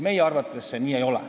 Meie arvates see nii ei ole.